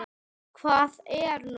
Hvað er nú?